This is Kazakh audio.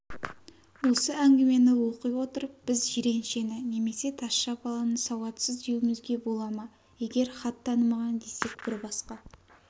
осы әңгімені оқи отырып біз жиреншені немесе тазша баланы сауатсыз деуімізге бола ма егер хат танымаған десек бір басқа